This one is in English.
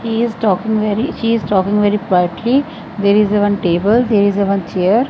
he is talking very he is talking very politely there is a one table there is a one chair.